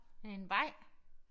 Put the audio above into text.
Er det en vej?